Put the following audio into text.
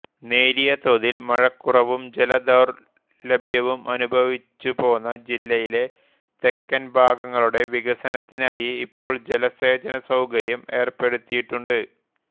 നേരിയ തോതിൽ മഴക്കുറവും ജല ദൌർലഭ്യവും അനുഭവിച്ചുപോന്ന ജില്ലയിലെ തെക്കൻ ഭാഗങ്ങളുടെ വികസനത്തിനായി ഇപ്പോൾ ജലസേചന സൌകര്യം ഏർപ്പെടുത്തിയിട്ടുണ്ട്